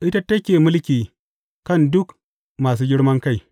Ita take mulki kan duk masu girman kai.